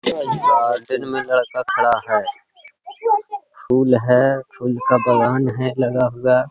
दिन में लडका खड़ा है। फूल है। फूल का बागान है लगा हुआ।